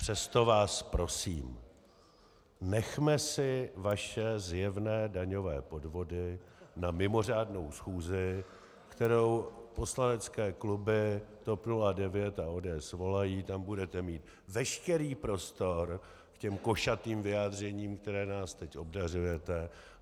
Přesto vás prosím, nechme si vaše zjevné daňové podvody na mimořádnou schůzi, kterou poslanecké kluby TOP 09 a ODS svolají, tam budete mít veškerý prostor k těm košatým vyjádřením, kterými nás teď obdařujete.